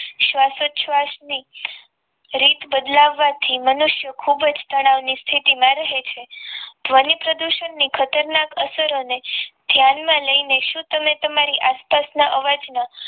શ્વાસોશ્વાસની રીત બદલાવા થી મનુષ્યની ખૂબ જ તણાવની સ્થિતિમાં રહે છે ધ્વનિ પ્રદૂષણની ખતરનાક અસરોને ધ્યાનમાં લઈને શું તમે તમારી આસપાસના અવાજના